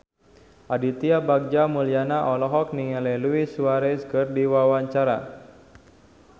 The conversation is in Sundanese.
Aditya Bagja Mulyana olohok ningali Luis Suarez keur diwawancara